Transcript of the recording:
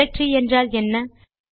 directory என்றால் என்ன